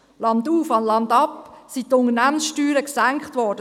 Landauf, landab sind die Unternehmenssteuern gesenkt worden.